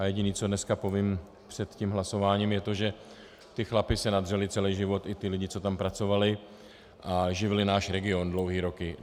A jediné, co dneska povím před tím hlasováním, je to, že ti chlapi se nadřeli celý život, i ti lidé, co tam pracovali a živili náš region dlouhé roky.